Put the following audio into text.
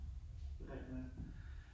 Det rigtig nok